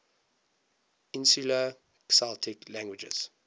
insular celtic languages